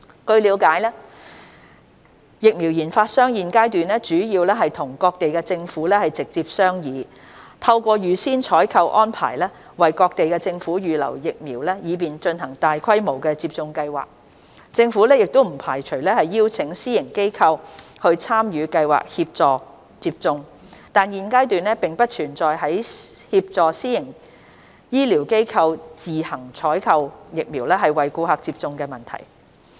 據了解，疫苗研發商現階段主要與各地政府直接商議，透過預先採購安排為各地政府預留疫苗以便進行大規模接種計劃，政府不排除邀請私營醫療機構參與計劃協助接種，但現階段並不存在協助私營醫療機構自行採購疫苗為顧客接種的問題。